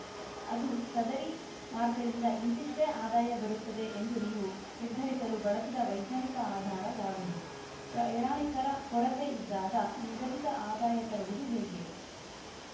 ಅದು ಸದರಿ ಮಾರ್ಗದಿಂದ ಇಂತಿಷ್ಟೇ ಆದಾಯ ಬರುತ್ತದೆ ಎಂದು ನೀವು ನಿರ್ಧರಿಸಲು ಬಳಸಿದ ವೈಜ್ಞಾನಿಕ ಆಧಾರ ಯಾವುದು ಪ್ರಯಾಣಿಕರ ಕೊರತೆ ಇದ್ದಾಗ ನಿಗದಿತ ಆದಾಯ ತರುವುದು ಹೇಗೆ